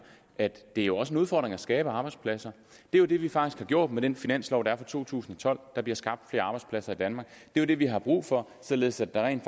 at det jo også er en udfordring at skabe arbejdspladser det er jo det vi faktisk har gjort med den finanslov der er for to tusind og tolv der bliver skabt flere arbejdspladser i danmark det er det vi har brug for således at der rent